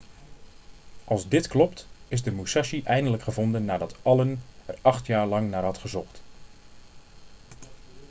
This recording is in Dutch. als dit klopt is de musashi eindelijk gevonden nadat allen er acht jaar lang naar had gezocht